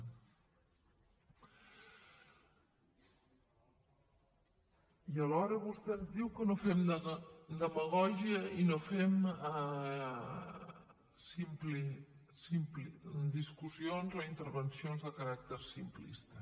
i alhora vostè ens diu que no fem demagògia i no fem discussions o intervencions de caràcter simplista